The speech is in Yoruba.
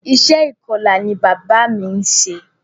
Iṣẹ́ ìkọla ni bàbá mí ń ṣe.